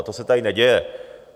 A to se tady neděje.